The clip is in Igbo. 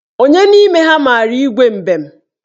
Onye n'ime ha mara Igwe mbem?